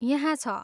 यहाँ छ!